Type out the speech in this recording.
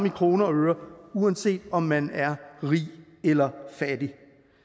i kroner og øre uanset om man er rig eller fattig